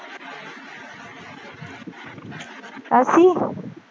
ਅਸੀਂ